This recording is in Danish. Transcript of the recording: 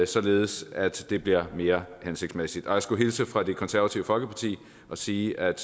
således at det bliver mere hensigtsmæssigt og jeg skulle hilse fra det konservative folkeparti og sige at